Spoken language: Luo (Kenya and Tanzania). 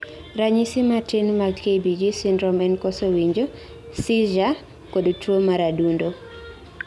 ranyisi matin mag KBG syndrome en koso winjo, seizure kod tuo mar adundo